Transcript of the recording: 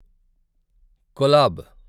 collab